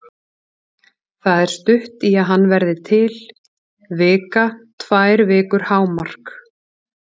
Það er stutt í að hann verði til, vika, tvær vikur hámark.